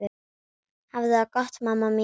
Hafðu það gott mamma mín.